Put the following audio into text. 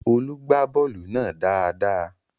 Olú gbá bọ́ọ̀lù náà dáadáa